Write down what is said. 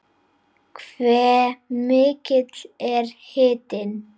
Hve mikill er hitinn?